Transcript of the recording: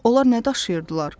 Onlar nə daşıyırdılar?